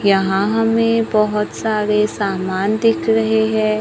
यहां हमें बहोत सारे सामान दिख रहे हैं।